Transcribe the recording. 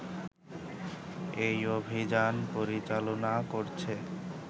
এই অভিযান পরিচালনা করছে